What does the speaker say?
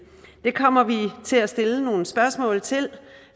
det kommer vi til at stille nogle spørgsmål til